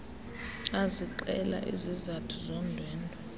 ezixela izizathu zondwendwe